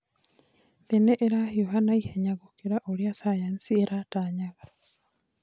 Thĩ nĩ ĩrahiũha naihenya gũkira ũrĩa thayanthi ĩratanyaga.